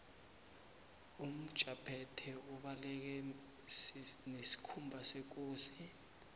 umjaphethe ubaleke sesikhumba sekosi